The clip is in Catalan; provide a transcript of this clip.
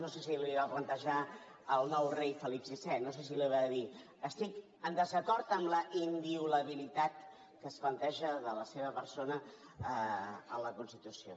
no sé si li ho va plantejar al nou rei felip vi no sé si li va dir estic en desacord amb la inviolabilitat que es planteja de la seva persona en la constitució